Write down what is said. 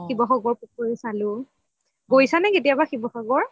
শিৱসাগৰ পুখুৰি চালো, গৈছা নে কেতিয়াবা শিৱসাগৰ